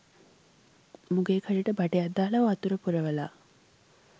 මූගේ කටට බටයක් දාලා වතුර පුරවලා